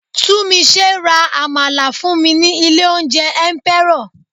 Tunmise ra àmàlà fún mi ní ilé oúnjẹ Emperor.